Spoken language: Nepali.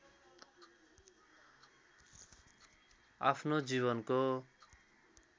आफ्नो जीवनको